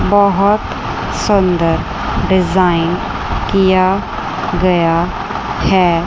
बहुत सुंदर डिजाइन किया गया है।